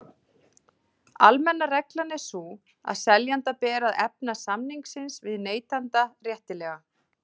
Almenna reglan er sú að seljanda ber að efna samning sinn við neytanda réttilega.